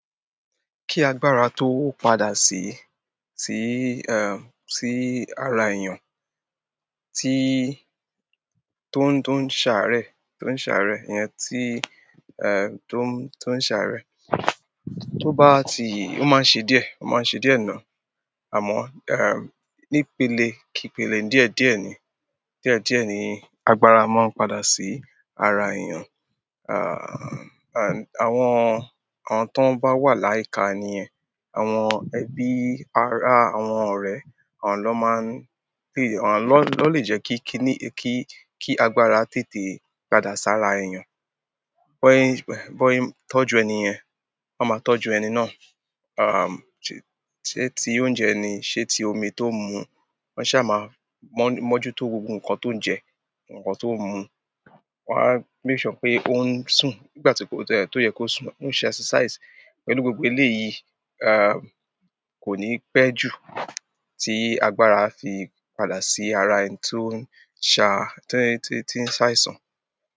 Kí agbára tó padà sí, sí ẹǹ sí ara èèyàn, tí tó n tó ń ṣàárẹ̀, tó ń ṣàárẹ̀, ìyẹn tí ẹǹ to ń tó ń ṣàárẹ̀. Tó bá ti-- ó máa n ṣe díẹ̀, ó máa n ṣe díẹ̀ náà. Àmọ́, um, ní pele kí pele, díẹ̀díẹ̀ ni. Díẹ̀díẹ̀ ni agbára máa n padà sí ara èèyan. Ẹǹ ẹǹ àwọn àwọn tó bá wà ní ICAN yẹn, àwọn ẹbí ará àwọn ọ̀rẹ́, àwọn lọ́ máa ń ló lè jẹ́ kí kiní kí agbára tètè padà sí ará èèyàn. Bọ́ ẹyin, bọ́ ẹyin tọ́jú ẹnìyàn, wọ́n máa tọ́jú ẹni náà. Ẹm̀ ṣé tí oúnjẹ ni, ṣẹ́ tí omi tó n mu, wọ́n ṣá máa mọ́jútó gbogbo nǹkan tó ń jẹ, nǹkan tó ń mú. Wọ́n á make sure pé ó ń sùn. Nígbà tí ó tẹ́, tó yẹ kó sùn, ó ń ṣe exercise. Pẹ̀lú gbogbo lé yí, um, kò ní pẹ́ jù tí agbára fi padà sí ara ẹni tó ń sà, tí ń, tí ń ṣàìsàn.